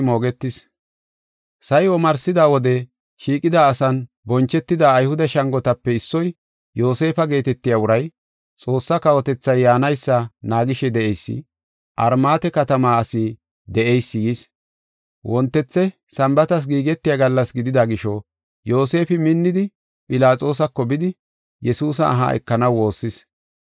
Sa7i omarsida wode, shiiqida asan bonchetida Ayhude shangotape issoy, Yoosefa geetetiya uray, Xoossa kawotethay yaanaysa naagishe de7eysi, Armaate katama asi de7eysi yis. Wontethe Sambaatas giigetiya gallas gidida gisho, Yoosefi minnidi Philaxoosako bidi, Yesuusa aha ekanaw woossis.